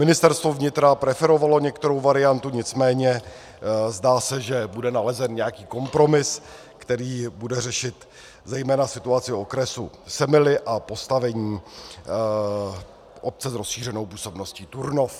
Ministerstvo vnitra preferovalo některou variantu, nicméně se zdá, že bude nalezen nějaký kompromis, který bude řešit zejména situaci okresu Semily a postavení obce s rozšířenou působností Turnov.